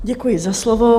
Děkuji za slovo.